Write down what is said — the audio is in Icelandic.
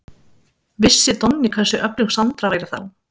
Vissi Donni hversu öflug Sandra væri þá?